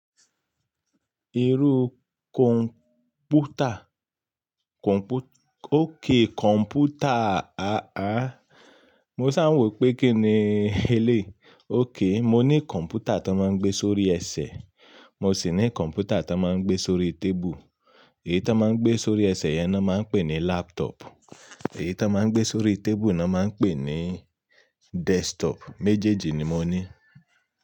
Irú kọ̀ǹpútà? Kọ̀ǹpútà, òkay, kọ̀ǹpútà. A a, mo ṣà ń wò pé kí ni ẹ léyi Ókay, mo ní kọ̀ǹpútà ti won máa ń gbé sórí ẹsẹ̀, mo sì ní kọ̀ǹpútà ti won máa ń gbé sórí tébù. Èyí tó máa ń gbé sórí ẹsẹ̀ yẹn ni wọ́n máa ń pè ní laptop, èyí tó máa ń gbé sórí tébù ni wọ́n máa ń pè ní desktop. Méjèèjì ni mo ní.